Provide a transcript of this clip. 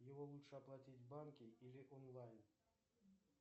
его лучше оплатить в банке или онлайн